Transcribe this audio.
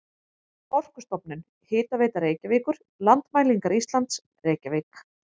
Orkustofnun, Hitaveita Reykjavíkur, Landmælingar Íslands, Reykjavík.